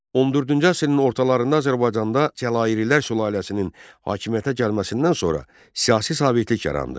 14-cü əsrin ortalarında Azərbaycanda Cəlalilər sülaləsinin hakimiyyətə gəlməsindən sonra siyasi sabitlik yarandı.